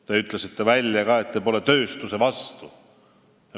Te ütlesite välja, et te pole tööstuse vastu.